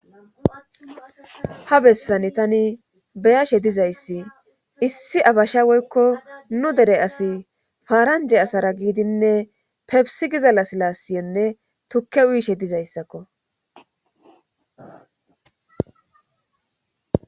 ha bessani tani beyashe dizayssi issi abasha woykko nu dere asi faaranje asara giidinne pebisi gizalla silaasiyonne tukke uyishe dizayssakko